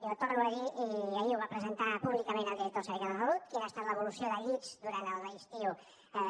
jo torno a dir i ahir ho va presentar públicament el director del servei català de la salut quina ha estat l’evolució de llits durant l’estiu